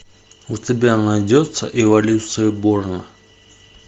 у тебя найдется эволюция борна